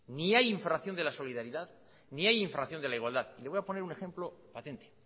ni hay infracción de la solidaridad ni hay infracción de la igualdad y le voy a poner un ejemplo patente